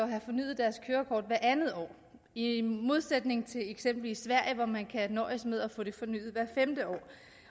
have fornyet deres kørekort hvert andet år i i modsætning til eksempelvis sverige hvor man kan nøjes med at få det fornyet hvert femte år